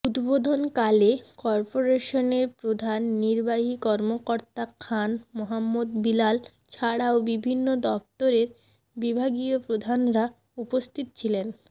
উদ্বোধনকালে কর্পোরেশনের প্রধান নির্বাহী কর্মকর্তা খান মোহাম্মদ বিলাল ছাড়াও বিভিন্ন দফতরের বিভাগীয় প্রধানরা উপস্থিত ছিলেন